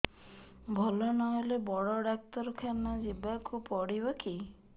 ଭଲ ନହେଲେ ବଡ ଡାକ୍ତର ଖାନା ଯିବା କୁ ପଡିବକି